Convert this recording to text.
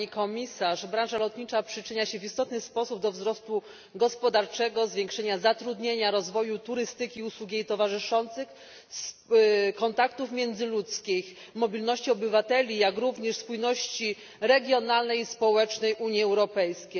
Panie Przewodniczący! Pani Komisarz! Branża lotnicza przyczynia się w istotny sposób do wzrostu gospodarczego, zwiększenia zatrudnienia, rozwoju turystyki usług i jej towarzyszących, kontaktów międzyludzkich, mobilności obywateli, jak również spójności regionalnej i społecznej Unii Europejskiej.